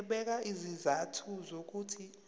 ebeka izizathu zokuthi